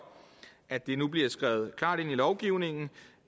at det nu bliver skrevet klart ind i lovgivningen